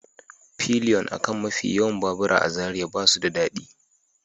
Pilion a kan mafi yawan babura a Zariya ba su da daɗi